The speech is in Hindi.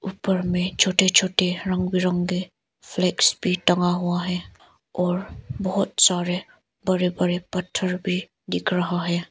ऊपर में छोटे छोटे रंग बिरंगे फ्लैगस भी टंगा हुआ है और बहुत सारे बड़े बड़े पत्थर भी दिख रहा है।